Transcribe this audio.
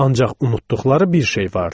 Ancaq unutduqları bir şey vardı.